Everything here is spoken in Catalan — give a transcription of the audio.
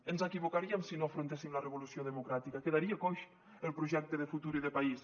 ens equivocaríem si no afrontéssim la revolució democràtica quedaria coix el projecte de futur i de país